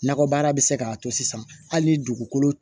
Nakɔbaara bɛ se k'a to sisan hali ni dugukolo